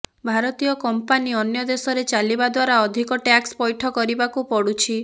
ଭାରତୀୟ କମ୍ପାନୀ ଅନ୍ୟ ଦେଶରେ ଚାଲିବା ଦ୍ୱାରା ଅଧିକ ଟ୍ୟାକ୍ସ ପୈଠ କରିବାକୁ ପଡ଼ୁଛି